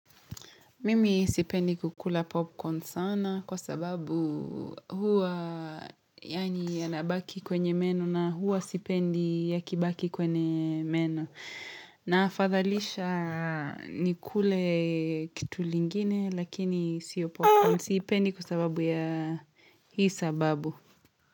Mimi sipendi kukula popcorn sana kwa sababu huwa yanabaki kwenye meno na huwa sipendi yakibaki kwenye meno. Na afadhalisha nikule kitu lingine lakini siyo popcorn siipendi kwa sababu ya hii sababu.